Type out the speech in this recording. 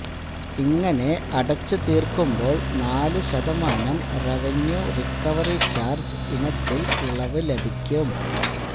ഇങ്ങനെ അടച്ചു തീര്ക്കുമ്പോള് നാല് ശതമാനം റവന്യു റിക്കവറി ചാര്ജ് ഇനത്തില് ഇളവ് ലഭിക്കും